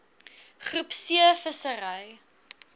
groep c vissery